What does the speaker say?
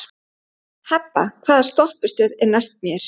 Hebba, hvaða stoppistöð er næst mér?